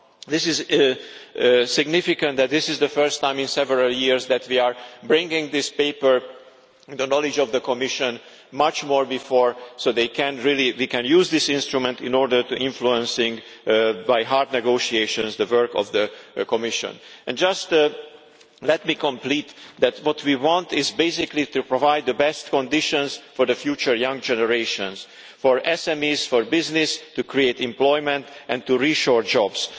It is significant that this is the first time in several years that we are bringing this paper, the knowledge of the Commission, much earlier so we can really use this instrument in order to influence by hard negotiations the work of the Commission. Just let me end by saying that what we want is basically to provide the best conditions for future young generations, for SMEs, for business, to create employment and to reshore jobs.